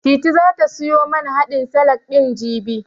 Titi zata siyo man haɗin salak ɗin, jibi.